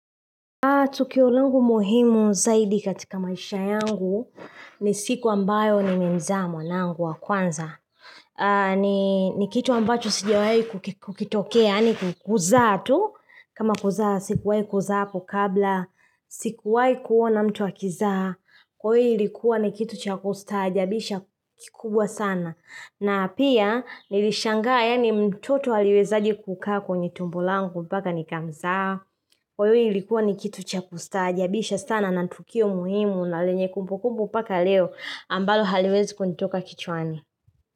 Tukio langu muhimu zaidi katika maisha yangu ni siku ambayo nimemzaa mwanangu wa kwanza ni ni kitu ambacho sijawai kukitokea yaani kuzaa tu. Kama kuzaa sikuwai kuzaa hapo kabla. Sikuwai kuona mtu akizaa. Kwa iyo ilikuwa ni kitu cha kustaajabisha kikubwa sana. Na pia nilishangaa yani mtoto aliwezaje kukaa kwenye tumbo langu mpaka nikamzaa. Kwa hiyo ilikuwa ni kitu cha kustaajabisha sana na tukio muhimu na lenye kumbukumbu mpaka leo ambalo haliwezi kunitoka kichwani.